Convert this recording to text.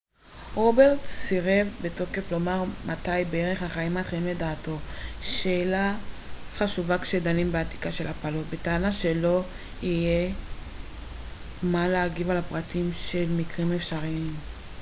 רוברטס סירב בתוקף לומר מת בערך החיים מתחילים לדעתו שאלה חשובה כשדנים באתיקה של הפלות בטענה שלא יהיה זה אתי להגיב על הפרטים של מקרים אפשריים